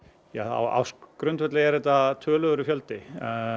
á ársgrundvelli er þetta töluverður fjöldi